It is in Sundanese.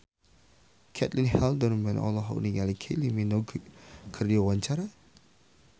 Caitlin Halderman olohok ningali Kylie Minogue keur diwawancara